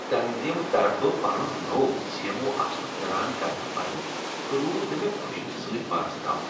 تنظیمہٕ طرفہٕ پنن نوٚو سی ایم اوٗ آسنک اعلان کرنہٕ پتہٕ روٗد نہٕ مےٚ خوشی سۭتۍ پانس تام